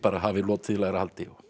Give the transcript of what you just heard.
hafi lotið í lægra haldi